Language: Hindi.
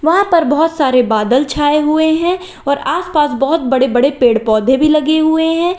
वहां पर बहुत सारे बादल छाए हुए हैं और आसपास बहुत बड़े बड़े पेड़ पौधे भी लगे हुए हैं।